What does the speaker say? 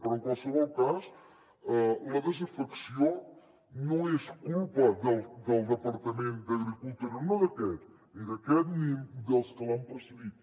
però en qualsevol cas la desafecció no és culpa del departament d’agricultura no d’aquest ni d’aquest ni dels que l’han precedit